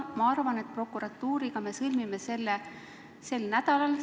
Ma arvan, et prokuratuuriga me sõlmime selle sel nädalal.